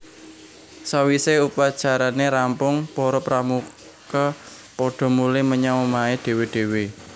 Sawise upacarane rampung para Pramuka padha mulih menyang omahé dhéwé dhéwé